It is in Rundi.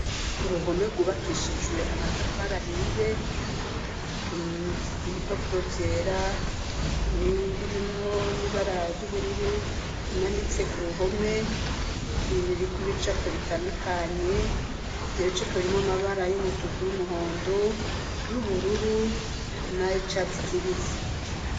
Uruhome gubakishijwe amatafari ahiye ibipapuro vyera ni birimwo n'ibara yubururu bimanitse ku ruhome biri ku ibicapo bitandukanye ibye ibicapo birimo amabara y'umutuku y'umuhondo y'ubururu na icharts kibisi.